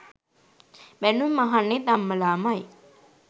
බැනුම් අහන්නෙත් අම්මලාමයි.